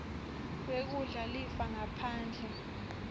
wekudla lifa ngaphandle